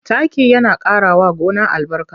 Taki yana ƙarawa gona albarka.